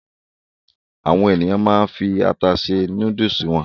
Àwọn ènìyàn máa ń fi ata se núdúlù wọn.